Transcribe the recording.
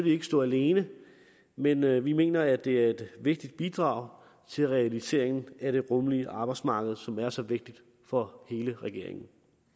ikke stå alene men vi vi mener at det er et vigtigt bidrag til realiseringen af det rummelige arbejdsmarked som er så vigtigt for hele regeringen